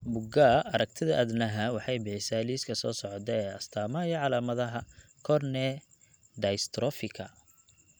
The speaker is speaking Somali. Bugaa aragtida aDdanaha waxay bixisaa liiska soo socda ee astamaha iyo calaamadaha Cone dystrophyka.